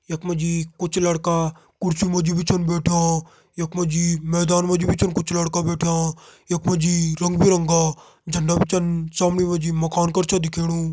यख मा जी कुछ लड़का कुर्सी मा जी छिन बैठ्यां यख मा जी मैदान मा जी छिन कुछ लड़का बैठ्यां यख मा जी रंग बिरंगा झंडा भी छन सामणे मा जी मकान कर दिखेणु।